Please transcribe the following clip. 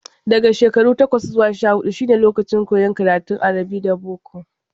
Daga shekaru takwas zuwa sha-huɗu kuma shine lokacin koyon karatun arabi da boko.